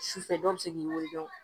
Su fɛ dɔw bɛ se k'i weele dɔrɔn